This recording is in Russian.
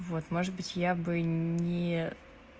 вот может быть я бы не